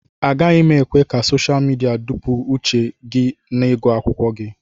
Agaghị m ekwe ka sosha midia dọpụ uche gị n'ịgụ akwụkwọ gị